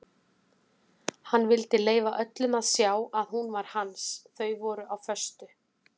Hann vildi leyfa öllum að sjá að hún var hans þau voru á föstu.